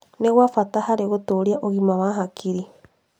Nĩ gwa bata harĩ gũtũũria ũgima wa hakiri.